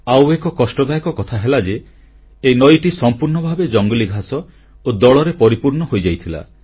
ଆଉ ଏକ କଷ୍ଟଦାୟକ କଥା ହେଲା ଯେ ଏହି ନଈଟି ସମ୍ପୂର୍ଣ୍ଣ ଭାବେ ଜଙ୍ଗଲୀ ଘାସ ଓ ଦଳରେ ପରିପୂର୍ଣ୍ଣ ହୋଇଯାଇଥିଲା